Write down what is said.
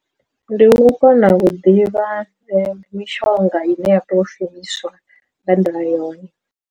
Ndi u kona vhuḓivha ndi mishonga i ne ya tea u shumiswa nga nḓila yone.